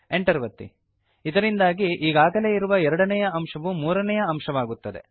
Enter ಒತ್ತಿ ಇದರಿಂದಾಗಿ ಈಗಾಗಲೇ ಇರುವ ಎರಡನೇಯ ಅಂಶವು ಮೂರನೇಯ ಅಂಶವಾಗುತ್ತದೆ